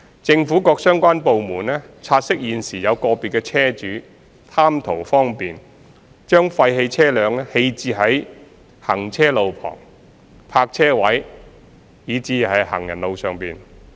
政府各相關部門察悉現時有個別車主貪圖方便，將廢棄車輛棄置在行車路旁、泊車位以至行人路上。